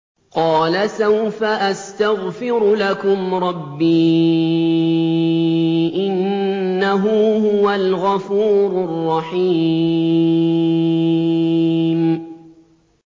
قَالَ سَوْفَ أَسْتَغْفِرُ لَكُمْ رَبِّي ۖ إِنَّهُ هُوَ الْغَفُورُ الرَّحِيمُ